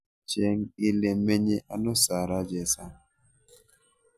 Cheng' ile menye ano sarah chesang